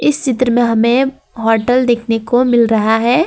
इस चित्र में हमें होटल देखने को मिल रहा है।